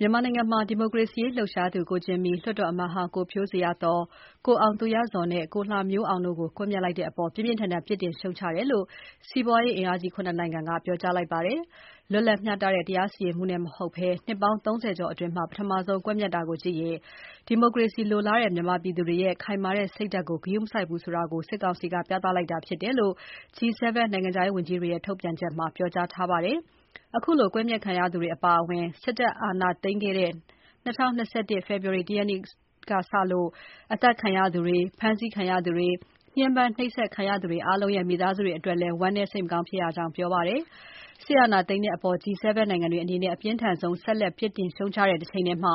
မြန်မာနိုင်ငံမှာ ဒီမိုကရေစီရေးလှုပ်ရှားသူ ကိုဂျင်မီ၊ လွှတ်တော်အမတ်ဟောင်း ကိုဖြိုးဇေယျာသော်၊ အရပ်သားပြည်သူနှစ်ဦးဖြစ်ကြတဲ့ ကိုအောင်သူရဇော်နဲ့ ကိုလှမျိုးအောင်တို့ကို ကွပ်မျက်လိုက်တဲ့အပေါ် ပြင်းပြင်းထန်ထန် ပြစ်တင် ရှုတ်ချတယ်လို့ စီးပွားအင်အားကြီး ၇ နိုင်ငံက ပြောကြားလိုက်ပါတယ်။ လွတ်လပ်မျှတတဲ့ တရားစီရင်မှုနဲ့မဟုတ်ဘဲ နှစ်ပေါင်း ၃၀ ကျော်အတွင်း ပထမဆုံး ကွပ်မျက်တာကိုကြည့်ရင် ဒီမိုကရေစီလိုလားတဲ့ မြန်မာပြည်သူတွေရဲ့ ခိုင်မာတဲ့စိတ်ဓါတ်ကို ဂရုမစိုက်ဘူးဆိုတာ ပြသလိုက်တာဖြစ်တယ်လို့ G7 နိုင်ငံခြားရေးဝန်ကြီးတွေရဲ့ ထုတ်ပြန်ချက်မှာ ပြောထားပါတယ်။ အခုလို ကွပ်မျက်ခံရသူတွေအပါအဝင် စစ်တပ်အာဏာခဲ့တဲ့ ၂၀၂၁ ဖေဖော်ဝါရီ ၁ ရက်ကစလို့ အသတ်ခံရသူတွေ၊ ဖမ်းဆီးခံရသူတွေ၊ ညှင်းပမ်းနှိပ်စက်ခံရသူတွေအားလုံးရဲ့ မိသားစုတွေအတွက်လည်း ဝမ်းနည်းစိတ်မကောင်းဖြစ်ရကြောင်းပြောပါတယ်။ စစ်အာဏာသိမ်းတဲ့အပေါ် G7 နိုင်ငံတွေအနေနဲ့ အပြင်းထန်ဆုံး ဆက်လက် ပြစ် တင် ရှုတ်ချတဲ့တချိန်တည်းမှာ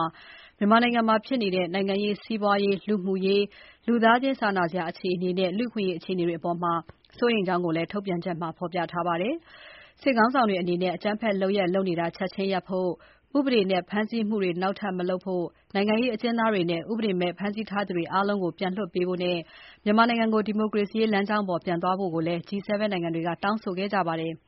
မြန်မာနိုင်ငံမှာဖြစ်နေတဲ့ နိုင်ငံရေး၊ စီးပွားရေး၊ လူမှုရေး၊ လူသားချင်းစာနာစရာ အခြေအနေနဲ့ လူ့အခွင့်အရေး အခြေအနေတွေအပေါ် စိုးရိမ်ကြောင်းကိုလည်း ထုတ်ပြန်ချက်မှာ ဖော်ပြထားပါတယ်။ စစ်ခေါင်းဆောင်တွေအနေနဲ့ အကြမ်းဖက်လုပ်ရပ် လုပ်နေတာ ချက်ချင်းရပ်ဖို့၊ ဥပဒေမဲ့ဖမ်းဆီးမှုတွေ နောက်ထပ်မလုပ်ဖို့၊ နိုင်ငံရေးအကျဉ်းသားတွေနဲ့ ဥပဒေမဲ့ ဖမ်းဆီးထားသူအားလုံးကို ပြန်လွှတ်ပေးဖို့နဲ့ မြန်မာနိုင်ငံကို ဒီမိုကရေစီလမ်းကြောင်းပေါ် ပြန်သွားဖို့လည်း G7 နိုင်ငံတွေက တောင်းဆိုလိုက်ကြပါတယ်။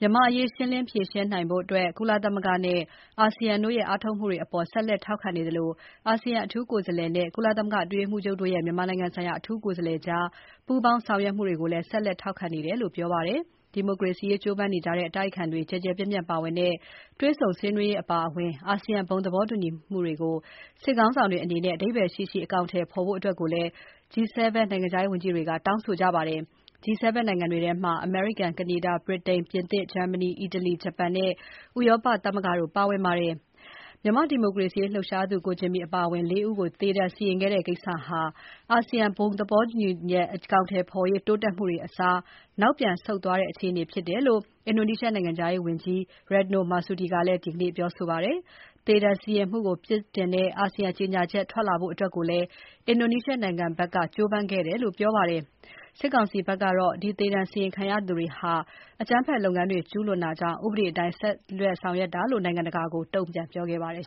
မြန်မာ့အရေးဖြေရှင်းနိုင်ဖို့ ကုလသမဂ္ဂနဲ့အာဆီယံတို့ရဲ့ အားထုတ်မှုတွေအပေါ် ဆက်လက်ထောက်ခံနေသလို အာဆီယံအထူးကိုယ်စားလှယ်နဲ့ ကုလသမဂ္ဂအတွင်းရေးမှူးချုပ်ရဲ့ မြန်မာနိုင်ငံဆိုင်ရာ အထူးကိုယ်စားလှယ်ကြား ပူးပေါင်းဆောင် ရွက်မှုတွေကိုလည်း ဆက်လက် ထောက်ခံနေတယ်လို့ ပြောပါတယ်။ ဒီမိုကရေစီရေးကြိုးပမ်းနေကြတဲ့ အတိုက်အခံတွေ ကျယ်ကျယ်ပြန့်ပြန့် ပါဝင်တဲ့ တွေ့ဆုံဆွေးနွေးရေးအပါအဝင် ASEAN ဘုံသဘောတူညီမှုတွေကို စစ်ခေါင်းဆောင်တွေအနေနဲ့ အဓိပ္ပါယ်ရှိရှိ အကောင်အထည်ဖော်ဖို့လည်း G7 နိုင်ငံတွေရဲ့ နိုင်ငံခြားရေးဝန်ကြီးတွေက တောင်းဆိုထားကြပါတယ်။ G7 နိုင်ငံတွေထဲမှာ အမေရိကန်၊ ကနေဒါ၊ ဗြိတိန်၊ ပြင်သစ်၊ ဂျာမနီ၊ အီတလီ၊ ဂျပန်နဲ့ EU ဥရောပသမဂ္ဂတို့ပါဝင်ပါတယ်။ မြန်မာ့ဒီမိုကရေစီရေးလှုပ်ရှားသူ ကိုဂျင်မီအပါအဝင် လေးဦးကို သေဒဏ်စီရင်ခဲ့တဲ့ကိစ္စဟာ အာဆီယံဘုံသဘောတူညီချက်အကောင်အထည်ဖော်ရေး တိုးတက်မှုတွေအစား နောက်ပြန်ဆုတ်သွားတဲ့အခြေအနေဖြစ်တယ်လို့ အင်ဒိုနီးရှားနိုင်ငံခြားရေးဝန်ကြီး Retno Marsudi ကလည်း ဒီကနေ့ ပြောဆိုပါတယ်။ သေဒဏ်စီရင်မှုကို ပြစ်တင်တဲ့ အာဆီယံ ကြေညာချက်ထွက်လာဖို့လည်း အင်ဒိုနီးရှားနိုင်ငံဘက် က ကြိုးပမ်းခဲ့တယ်လို့ ဆိုပါတယ်။ မြန်မာစစ်ကောင်စီဘက်ကတော့ ဒီ သေဒဏ်စီရင်ခံရသူတွေဟာ အကြမ်းဖက်လုပ်ငန်းတွေ ကျူးလွန်တာကြောင့် ဥပဒေအတိုင်း ဆောင်ရွက်တာလို့ နိုင်ငံတကာကို တုံ့ပြန်ခဲ့ပါတယ်